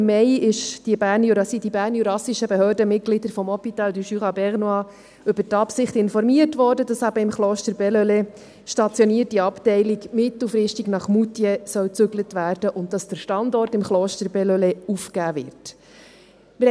Im Mai wurden die bernjurassischen Behördenmitglieder der HJB SA über die Absicht informiert, dass die im Kloster Bellelay stationierte Abteilung mittelfristig nach Moutier umziehen soll und dass der Standort im Kloster Bellelay aufgegeben wird.